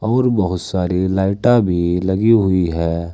और बहुत सारी लाइटा भी लगी हुई है।